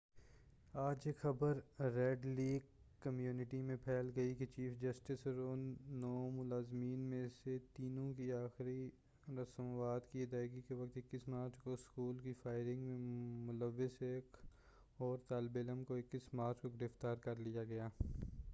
آج یہ خبر ریڈ لیک کمیونٹی میں پھیل گئی کہ جیف وائس اور ان نو مظلومین میں سے تینوں کی آخری رسومات کی ادائیگی کےوقت 21 مارچ کو اسکول کی فائرنگ میں ملوث ایک اور طالب علم کو 21 مارچ کو گرفتار کر لیا گیا ہے